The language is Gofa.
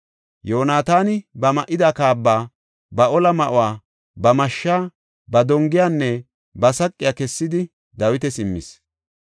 Yoonataani ba ma7ida kaaba, ba ola ma7uwa, ba mashshaa, ba dongiyanne ba saqiya kessidi Dawitas immis.